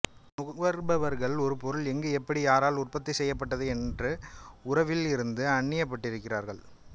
நுகர்பவர்களும் ஒரு பொருள் எங்கு எப்படி யாரால் உற்பத்தி செய்யப்பட்டது என்ற உறவில் இருந்து அன்னியப்பட்டு இருகிறார்கள்